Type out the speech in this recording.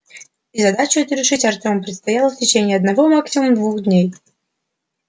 и задачу эту решить артему предстояло в течение одного максимум двух дней